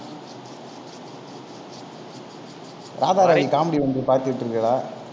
Radharavi comedy ஒன்று பாத்துட்டு விட்டீர்களா